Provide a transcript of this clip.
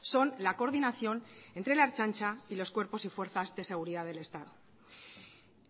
son la coordinación entre la ertzantza y los cuerpos y fuerzas de seguridad del estado